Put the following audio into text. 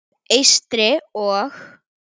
Eystri- og